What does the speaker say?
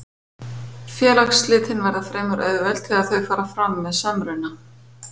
Félagsslitin verða fremur auðveld þegar þau fara fram með samruna.